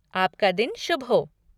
आपका दिन शुभ हो।